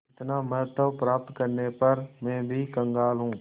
इतना महत्व प्राप्त करने पर भी मैं कंगाल हूँ